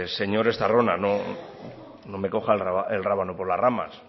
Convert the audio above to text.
señor estarrona no me coja el rábano por las ramas